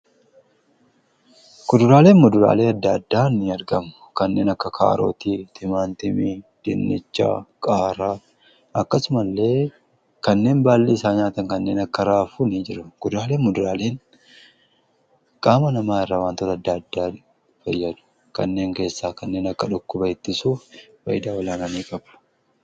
Kuduraaleen muduraaleen adda addaan ni argamu kanneen akka kaarooti, timaatimii ,dinnichaa, qaaraa akkasumallee kanneen baalli isaa nyaataman kanneen akka raafuu ni jiru. Kuduraalee Fi muduraaleen qaama namaa irraa wantoota adda addaa fayyadu kanneen keessaa kanneen akka dhukkuba ittisuu faayidaa olaanaa qabu.